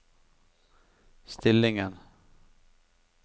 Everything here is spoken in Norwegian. stillingen